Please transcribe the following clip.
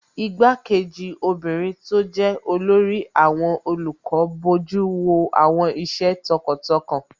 Igbá-kejì obìnrin tó jẹ́ olórí àwọn olùkọ́ bojú wo àwọn iṣẹ́ tọkàntọkàn